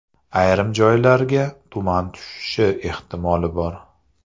Ayrim joylarga tuman tushishi ehtimoli bor.